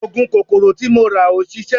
Oògùn kòkòrò tí mo rà ò ṣiṣẹ́